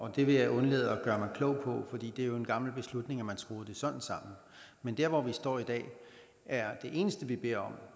og det vil jeg undlade at gøre mig klog på fordi det jo er en gammel beslutning at man skruede det sådan sammen men dér hvor vi står i dag er det eneste vi beder om